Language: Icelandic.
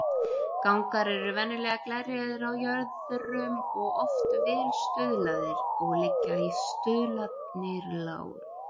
Gangar eru venjulega glerjaðir á jöðrum og oft vel stuðlaðir, og liggja stuðlarnir láréttir.